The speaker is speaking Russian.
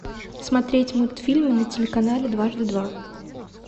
смотреть мультфильмы на телеканале дважды два